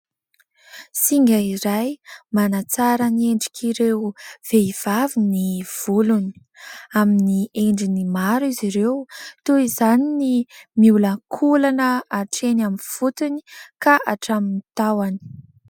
Singa iray manantsara ny endrik'ireo vehivavy ny volony. Amin'ny endriny maro izy ireo toy izany ny miolakolana hatreny amin'ny fotony ka hatramin'ny taohany.